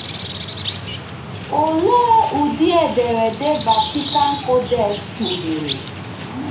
Òlee ụdị ederede Vatican Codex kpughere?